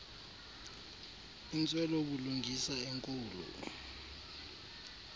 intswelo bulungisa enkulu